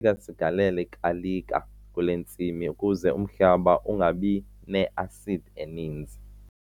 funeka sigalele igalika kule ntsimi ukuze umhlaba ungabi ne-asidi eninzi.